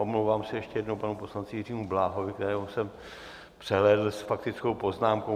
Omlouvám se ještě jednou panu poslanci Jiřímu Bláhovi, kterého jsem přehlédl s faktickou poznámkou.